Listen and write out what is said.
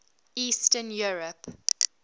eastern europe